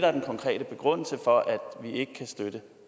er den konkrete begrundelse for at vi ikke kan støtte